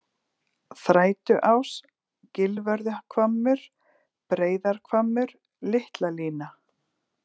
Þrætuás, Gilvörðuhvammur, Breiðarhvammur, Litlalína